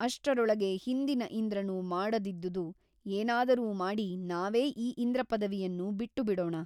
ಅಷ್ಟರೊಳಗೆ ಹಿಂದಿನ ಇಂದ್ರನು ಮಾಡದಿದ್ದುದು ಏನಾದರೂ ಮಾಡಿ ನಾವೇ ಈ ಇಂದ್ರಪದವಿಯನ್ನು ಬಿಟ್ಟು ಬಿಡೋಣ.